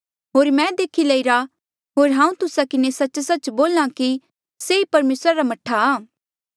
होर मैं देखी लईरा होर हांऊँ तुस्सा किन्हें सच्च सच्च बोल्हां कि से ई परमेसरा रा मह्ठा आ